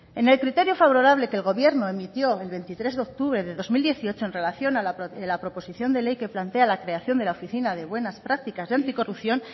en el criterio favorable que el gobierno emitió el veintitrés de octubre de dos mil dieciocho en relación a la proposición de ley que plantea la creación de la oficina de buenas prácticas y anticorrupción